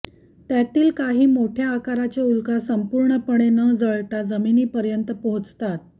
त्यातील काही मोठ्या आकाराच्या उल्का संपूर्णपणे न जळता जमिनीपर्यंत पोहचतात